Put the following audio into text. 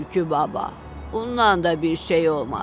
Tülkü baba, bundan da bir şey olmadı.